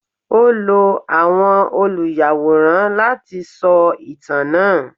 O lò àwọn oluyaworan lati sọ itan naa